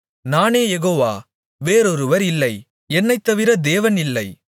நானே யெகோவா வேறொருவர் இல்லை என்னைத்தவிர தேவன் இல்லை